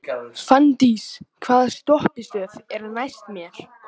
Fanndís, hvaða stoppistöð er næst mér?